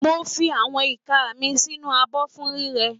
Mo fi àwọn ìka mi sínú abọ́ fún rírẹ